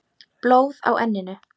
Blóð á enninu.